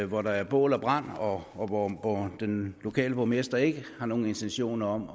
hvor der er bål og brand og og hvor den lokale borgmester ikke har nogen intentioner om